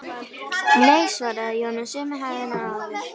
Nei, svaraði Jón með sömu hægðinni og áður.